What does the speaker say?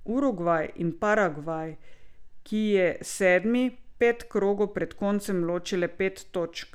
Urugvaj in Paragvaj, ki je sedmi, pet krogov pred koncem loči le pet točk.